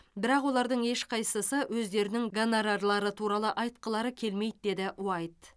бірақ олардың ешқайсысы өздерінің гонорарлары туралы айтқылары келмейді деді уайт